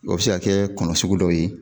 O bɛ se ka kɛ kɔnɔ sugu dɔ ye.